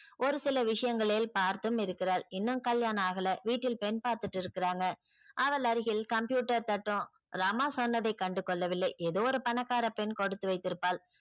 ஒரு சில விஷயங்களில் பார்த்தும் இருக்கிறாள் இன்னும் கல்யாணம் ஆகல வீட்டில் பெண் பாத்துட்டு இருக்குறாங்க அவள் அருகில் computer தட்டும் ரமா சொன்னதை கண்டுகொள்ளவில்லை ஏதோ ஒரு பணக்கார பெண் கொடுத்து வைத்திருப்பாள்.